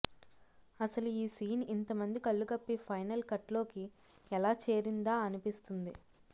అసలు ఈ సీన్ ఇంతమంది కళ్లుగప్పి ఫైనల్ కట్లోకి ఎలా చేరిందా అనిపిస్తుంది